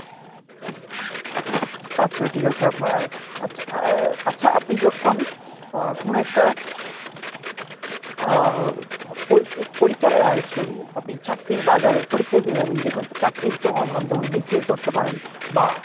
আচ্ছা ঠিক আছে, আপনার আহ আচ্ছা আপনি যখন আহ কোনো একটা আহ পড়ি~ পরীক্ষার আহ sorry আপনি চাকরির বাজারের পরীক্ষা দিতে যাবেন যেকোনো একটি চাকরির তুলনামূলক যেমন BCS ধরতে পারেন বা।